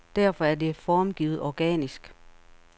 Derfor er det formgivet organisk.